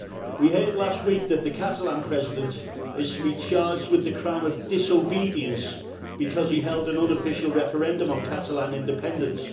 We heard last week that the Catalan President is to be charged with the crime of disobedience because he held an unofficial referendum on Catalan independence.